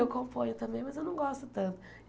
Eu componho também, mas eu não gosto tanto.